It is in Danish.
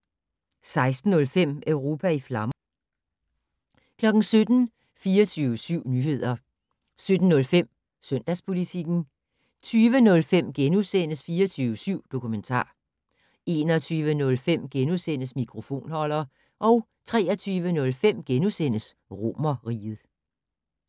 16:05: Europa i flammer 17:00: 24syv Nyheder 17:05: Søndagspolitikken 20:05: 24syv Dokumentar * 21:05: Mikrofonholder * 23:05: Romerriget *